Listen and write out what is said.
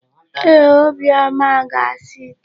Ee, Obiọma ga-asa ite.